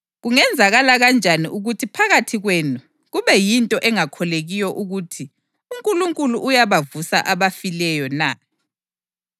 Kungenzakala kanjani ukuthi phakathi kwenu kube yinto engakholekiyo ukuthi uNkulunkulu uyabavusa abafileyo na?